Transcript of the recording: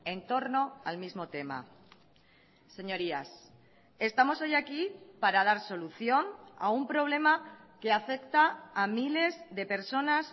en torno al mismo tema señorías estamos hoy aquí para dar solución a un problema que afecta a miles de personas